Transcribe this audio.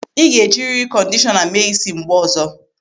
Ị ga-ejiriri kọndishọna mee ísí mgbe ọzọ.